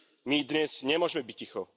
My dnes nemôžeme byť ticho.